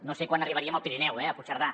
no sé quan arribaríem al pirineu a puigcerdà